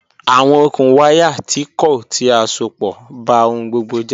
Awọn okùn wàyá tì kọ̀ ti à sọ̀pọ̀ bá ọhun gbogbo jẹ̀.